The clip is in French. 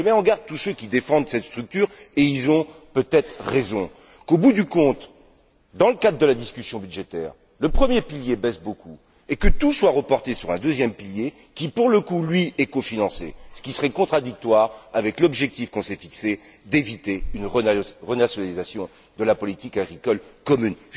Je mets en garde tous ceux qui défendent cette structure et ils ont peut être raison contre le fait qu'au bout du compte, dans le cadre de la discussion budgétaire, le premier pilier risque de beaucoup baisser et que tout soit reporté sur un deuxième pilier, pour le coup, lui, cofinancé, ce qui serait contradictoire avec l'objectif que l'on s'est fixé d'éviter une renationalisation de la politique agricole commune.